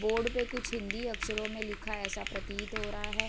Board पे कुछ हिंदी अक्षरों में लिखा ऐसा प्रतीत हो रहा है ।